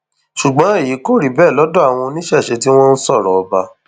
ṣùgbọn èyí kò rí bẹẹ lọdọ àwọn oníṣẹṣẹ tí wọn ń sọrọ ọba